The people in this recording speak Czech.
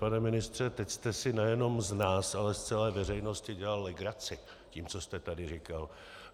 Pane ministře, teď jste si nejenom z nás, ale z celé veřejnosti dělal legraci tím, co jste tady říkal.